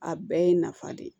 A bɛɛ ye nafa de ye